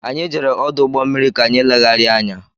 Anyị jere ọdụ ụgbọ mmiri ka anyị legharia anya.